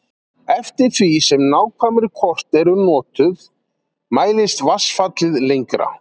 Eftir því sem nákvæmari kort eru notuð mælist vatnsfallið lengra.